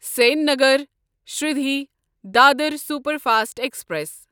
Sengar Shirdi Dadar superfast express